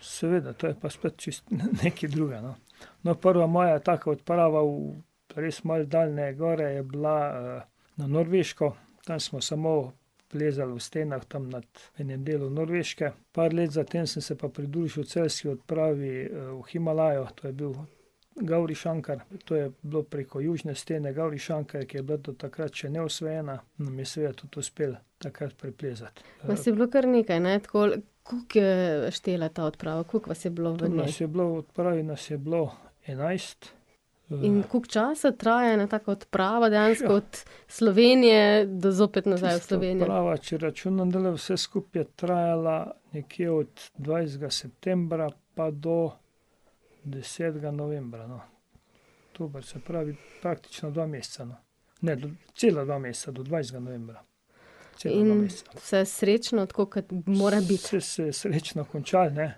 seveda, to je pa spet čisto nekaj drugega, no. No, prva moja taka odprava v res malo daljne gore je bila, na Norveško. Tam smo samo plezali v stenah tam nad enim delom Norveške. Par let zatem sem se pa pridružil celjski odpravi, v Himalajo, to je bil Gavrišankar, to je bilo preko južne stene Gavrišankar, ki je bila do takrat še neosvojena, nam je seveda tudi uspelo takrat preplezati. Vas je bilo kar nekaj, ne? ... Koliko je štela ta odprava, koliko vas je bilo v njej? Tu nas je bilo, v odpravi nas je bilo enajst. In koliko časa traja ena taka etapa? Dejansko od Slovenije do zopet nazaj v Slovenijo. Tista odprava, če računam zdajle vse skupaj, je trajala nekje od dvajsetega septembra pa do desetega novembra, no. Dobro, se pravi praktično dva meseca, no. Ne, cela dva meseca, do dvajsetega novembra. Cela dva meseca. In ... Vse srečno, tako kot mora biti? Vse se je srečno končalo, ne,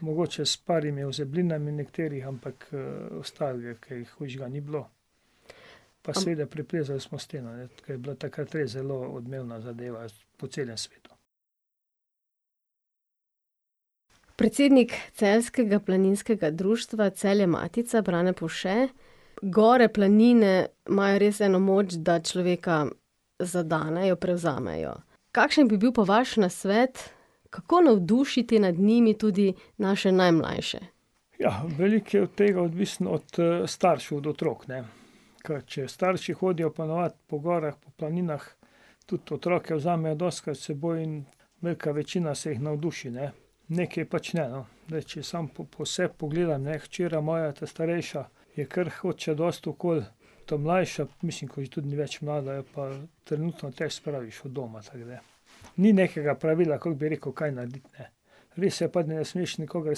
mogoče s par ozeblinami nekaterih, ampak ostalega kaj hujšega ni bilo. Pa seveda preplezali smo steno, ne, to je bilo takrat res zelo odmevna zadeva po celem svetu. Predsednik celjskega Planinskega društva Celje Matica, Brane Povše, gore, planine imajo res eno moč, da človeka zadenejo, prevzamejo. Kakšen bi bil pa vaš nasvet, kako navdušiti nad njimi tudi naše najmlajše? Ja, veliko je od tega odvisno od staršev, od otrok, ne. Ker če starši hodijo ponavadi po gorah, po planinah, tudi otroke vzamejo dostikrat seboj in velika večina se jih navduši, ne, nekaj pač ne, no. Zdaj, če sam po sebi pogledam, ne, hčera moja ta starejša je kar, hodi še dosti okoli, ta mlajša, mislim, ker tudi ni več mlada, jo pa trenutno težko spraviš od doma, tako da. Ni nekega pravila, kako bi rekel, kaj narediti, ne. Res je pa, da ne smeš nikogar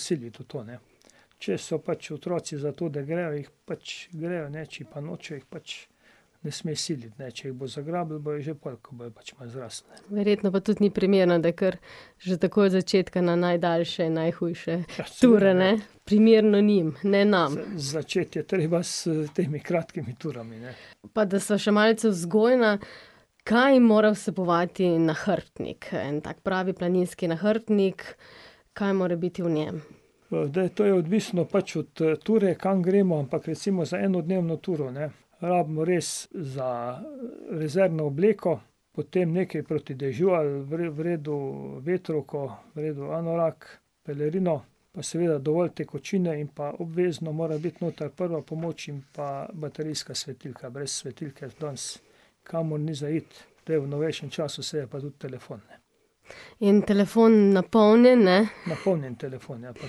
siliti v to, ne. Če so pač otroci za to, da grejo, jih pač grejo, ne, če pa nočejo, jih pač ne smeš siliti, ne, če jih bo zagrabilo, bojo že pol, ko bojo pač malo zrasli, ne. Verjetno pa tudi ni primerno, da jih kar že takoj od začetka na najdaljše in najhujše ture, ne. Primerno njim, ne nam. Začeti je treba s temi kratkimi turami, ne. Pa da sva še malce vzgojna, kaj mora vsebovati nahrbtnik, en tak pravi planinski nahrbtnik, kaj mora biti v njem? zdaj to je pač odvisno od ture, kam gremo, ampak recimo za enodnevno turo, ne. Rabimo res za, rezervno obleko, potem nekaj proti dežju ali v redu vetrovko, v redu anorak, pelerino pa seveda dovolj tekočine in pa obvezno morajo biti noter prva pomoč in pa baterijska svetilka, brez svetilke danes nikamor ni za iti, zdaj v novejšem času se je pa tudi telefon, ne. In telefon napolnjen, ne? Napolnjen telefon, ja, pa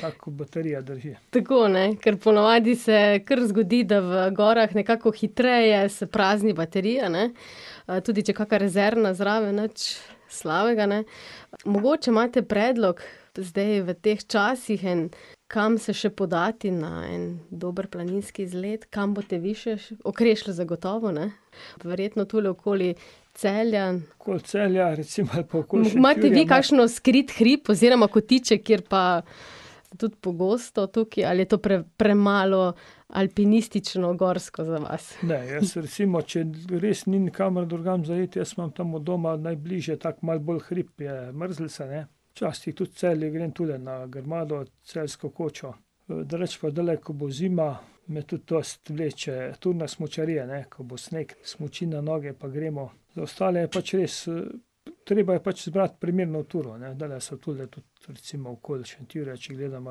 tak, ko baterija drži. Tako, ne, ker ponavadi se kar zgodi, da v gorah nekako hitreje se prazni baterija, ne, tudi če je kaka rezervna zraven, nič slabega, ne. Mogoče imate predlog, zdaj v teh časih en, kam se še podati na en dober planinski izlet, kam boste vi še Okrešelj zagotovo, ne? Verjetno tule okoli Celja ... Okoli Celja recimo ali pa okoli Šentjurja malo. Imate vi kakšen skrit hrib oziroma kotiček, kjer pa ... Tudi pogosto tukaj ali je to premalo alpinistično, gorsko za vas? Ne, jaz recimo, če res ni nikamor drugam za iti, jaz imam tam od doma najbližje, tako malo bolj hrib je Mrzlica, ne, včasih tudi Celje, grem tule na Grmado, Celjsko kočo, drugače dlje, ko bo zima, me tudi dosti vleče turna smučarija, ne, ko bo sneg, smuči na noge pa gremo. Za ostale je pač res, treba je pač izbrati primerno turo, ne, dlje so tule tudi recimo okoli Šentjurja, če gledamo ,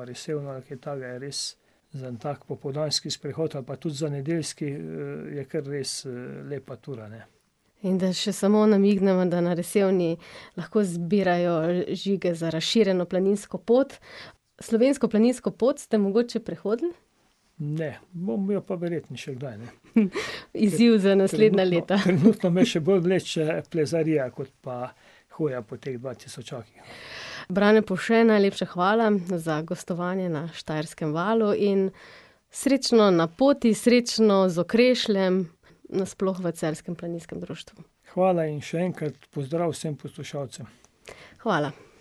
ali kaj takega, je res za en tak popoldanski sprehod ali pa tudi za nedeljski, je kar res, lepa tura, ne. In da še samo namigneva, da na Resevni lahko zbirajo žige za razširjeno planinsko pot. Slovensko planinsko pot ste mogoče prehodili? Ne, bom jo pa verjetno še kdaj, no. , izziv za naslednja leta, Trenutno me še bolj vleče plezarija kot pa hoja po teh dvatisočakih, no. Brane Povše, najlepša hvala za gostovanje na Štajerskem valu in srečno na poti, srečno z Okrešljem, na sploh v celjskem planinskem društvu. Hvala in še enkrat pozdrav vsem poslušalcem. Hvala.